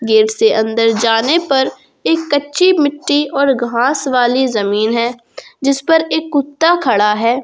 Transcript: Gate से अंदर जाने पर एक कच्ची मिट्टी और घास वाली जमीन है जिस पर एक कुत्ता खड़ा है।